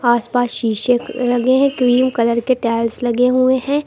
आस पास शीशे लगे हैं क्रीम कलर के टाइल्स लगे हुए है।